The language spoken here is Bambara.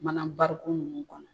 Mana nunnu kɔnɔ